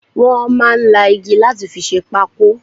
Wọn máa ń la igi láti fi ṣe pákó